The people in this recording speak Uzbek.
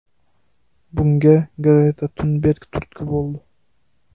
Bunga Greta Tunberg turtki bo‘ldi.